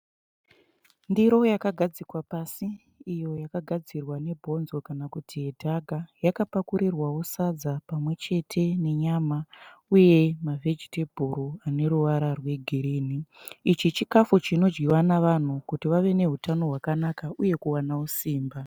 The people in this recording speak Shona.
Ndiro yakagadzikwa pasi iyo yakagadzirwa nebhonzo kana kuti yedhaka. Yakapakurirwawo sadza pamwechete nenyama uye mavhejitebhuru ane ruvara rwegirini. Ichi chikafu chinodyiwa navanhu kuti vave nehutano hwakanaka uyewo kuwanawo simba .